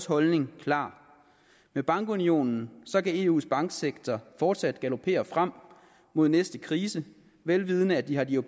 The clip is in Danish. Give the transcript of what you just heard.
holdningen klar med bankunionen kan eus banksektor fortsat galopere frem mod næste krise vel vidende at de har de